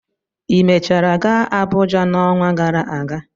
Ị mechara gaa Abụja n'ọnwa gara aga?